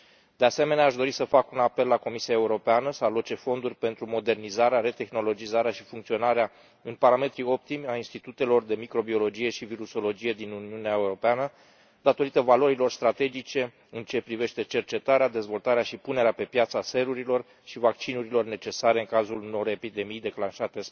De asemenea, aș dori să fac un apel la Comisia Europeană să aloce fonduri pentru modernizarea, retehnologizarea și funcționarea în parametri optimi a institutelor de microbiologie și virusologie din Uniunea Europeană, datorită valorilor strategice în ceea ce privește cercetarea, dezvoltarea și punerea pe piață a serurilor și vaccinurilor necesare în cazul unor epidemii declanșate